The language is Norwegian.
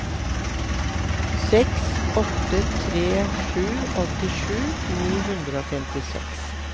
seks åtte tre sju åttisju ni hundre og femtiseks